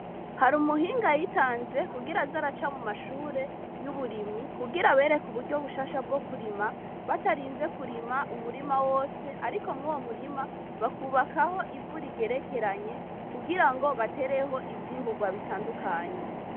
Hari umuhinga yitanze kugira zaraca mu mashure y'uburimyi kugira bereka uburyo bushasha bwo kurima batarinze kurima umurima wose, ariko mwoo murima bakubakaho ivu rigerekeranye kugira ngo batereho ivyimburwa bitandukanye.